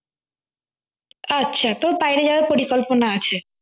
আচ্ছা তোর বাইরে যাওয়ার পরিকল্পনা আছে